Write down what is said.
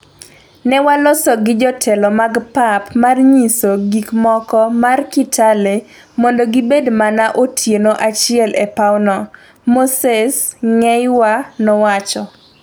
Ne waloso gi jotelo mag pap mar nyiso gikmoko mar Kitale mondo gibed mana otieno achiel e pawno", Moses Ngeiywa nowacho.